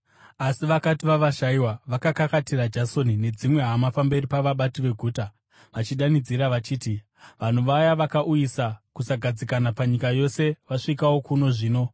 Asi vakati vavashayiwa, vakakakatira Jasoni nedzimwe hama pamberi pavabati veguta, vachidanidzira vachiti, “Vanhu vaya vakauyisa kusagadzikana panyika yose vasvikawo kuno zvino,